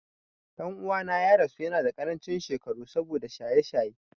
Ɗan'uwana ya rasu yanada ƙarancin shekaru saboda shaye-shaye.